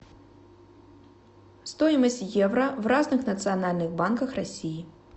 стоимость евро в разных национальных банках россии